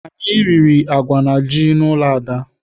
Anyị riri agwa na ji n'ụlọ Ada.